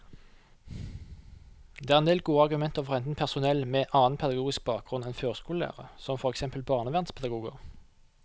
Det er endel gode argumenter for å hente inn personell med annen pedagogisk bakgrunn enn førskolelærere, som for eksempel barnevernspedagoger.